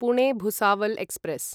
Pune Bhusawal express